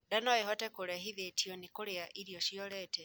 ndaa noĩhote kurehithitio ni kurĩa irio ciorete